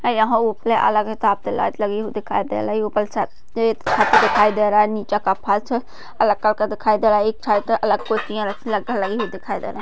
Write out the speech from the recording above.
यहा उपरे अलग कति लाइट लगी हुई दिखाई दे रही है उपर छत् छत दिखाई दे रहा है नीचे कफ़ाच अलग करके दिखाई दे रहा है एक साइट अलग खुर्चिया रखी लगी हुई दिखाई दे रही है।